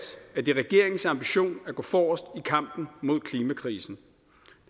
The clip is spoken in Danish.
at det er regeringens ambition at gå forrest i kampen mod klimakrisen